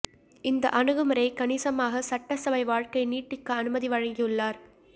இந்த அணுகுமுறை கணிசமாக சட்டசபை வாழ்க்கை நீட்டிக்க அனுமதி வழங்கியுள்ளார்